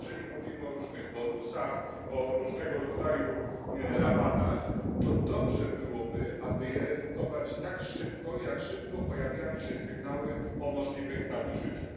Jeżeli mówimy o różnych bonusach, o różnego rodzaju rabatach, to dobrze byłoby, aby je redukować tak szybko, jak szybko pojawiają się sygnały o możliwych nadużyciach.